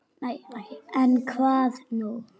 En, hvað nú?